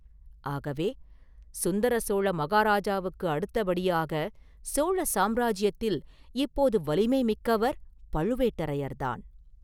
ஆகவே, சுந்தர சோழ மகாராஜாவுக்கு அடுத்தபடியாகச் சோழ சாம்ராஜ்யத்தில் இப்போது வலிமை மிக்கவர் பழுவேட்டரையர்தான்.